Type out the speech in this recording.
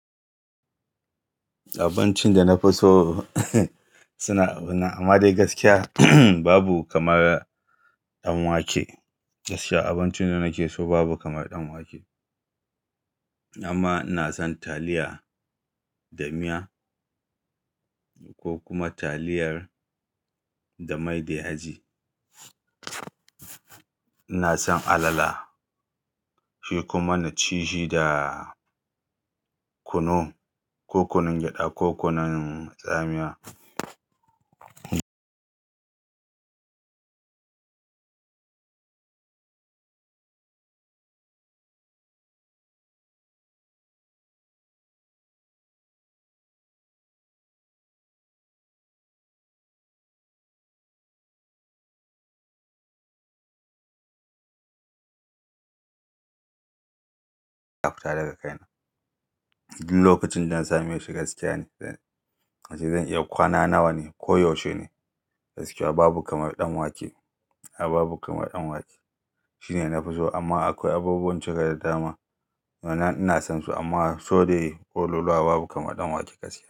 Abincin da na fi so suna abin nan-- amma dai gaskiya, babu kamar ɗan wake. Gaskiya abincin da nake so babu kamar ɗan wake. Amma ina son taliya da miya ko kuma taliyar da mai da yaji. Ina son alala, shi kuma na ci shi da kunu, ko kunun gyaɗa ko kunun tsamiya. Ta fita daga kaina. Duk lokacin da na sami shi gaskiya ne, zan-- wato zan iya kwana nawa ne ko yaushe ne. Gaskiya babu kamar ɗan wake, a'a babu kamar ɗan wake. Shi ne na fi so amma akwai abubuwan cika da dama wannan ina son su amma so dai koluluwa babu kamar ɗan wake gaskiya.